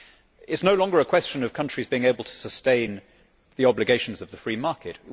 It is no longer a question of countries being able to sustain the obligations of the free market